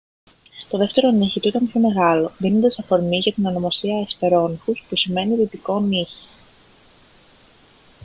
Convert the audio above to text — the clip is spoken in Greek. το δεύτερο νύχι του ήταν πιο μεγάλο δίνοντας αφορμή για την ονομασία hesperonychus που σημαίνει «δυτικό νύχι»